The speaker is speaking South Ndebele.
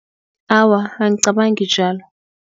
Awa, angicabangi njalo.